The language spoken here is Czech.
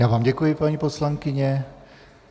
Já vám děkuji, paní poslankyně.